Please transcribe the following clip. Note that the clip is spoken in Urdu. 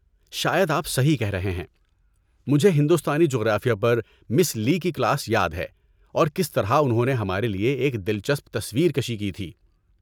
شاید آپ صحیح کہہ رہے ہیں! مجھے ہندوستانی جغرافیہ پر مِس لی کی کلاس یاد ہے، اور کس طرح انہوں نے ہمارے لیے ایک دلچسپ تصویر کشی کی تھی۔